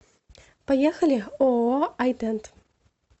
поехали ооо ай дент